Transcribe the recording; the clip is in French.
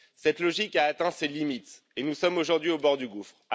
Cette logique a atteint ses limites et nous sommes aujourd'hui au bord du gouffre.